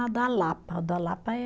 A da Lapa, o da Lapa é